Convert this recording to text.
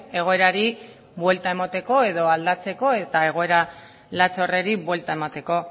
egoerari buelta emateko edo aldatzeko eta egoera latz horri buelta emateko